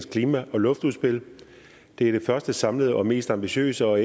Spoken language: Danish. klima og luftudspil det er det første samlede og mest ambitiøse og